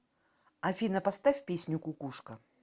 афина поставь песню кукушка